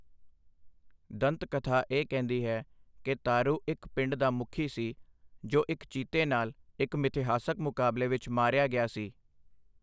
ਦੰਤਕਥਾ ਇਹ ਕਹਿੰਦੀ ਹੈ ਕਿ ਤਾਰੂ ਇੱਕ ਪਿੰਡ ਦਾ ਮੁਖੀ ਸੀ ਜੋ ਇੱਕ ਚੀਤੇ ਨਾਲ ਇੱਕ ਮਿਥਿਹਾਸਕ ਮੁਕਾਬਲੇ ਵਿੱਚ ਮਾਰਿਆ ਗਿਆ ਸੀ।